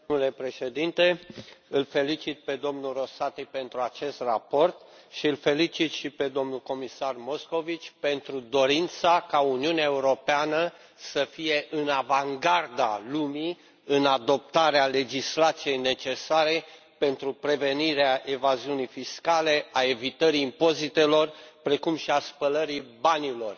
Domnule președinte, îl felicit pe domnul Rosati pentru acest raport și îl felicit și pe domnul comisar Moscovici pentru dorința ca Uniunea Europeană să fie în avangarda lumii în adoptarea legislației necesare pentru prevenirea evaziunii fiscale, a evitării impozitelor, precum și a spălării banilor.